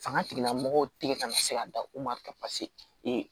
Fanga tigilamɔgɔw tɛ ka na se ka da u ma ka